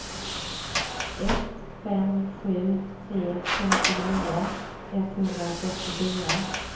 ett fem sju tre femtionio etthundrafyrtiofyra